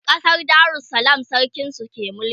ƙasar darussalam sarkin su ke mulki